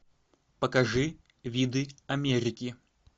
покажи виды америки